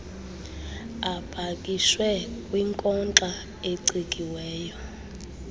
apakishwe kwinkonxa ecikiweyo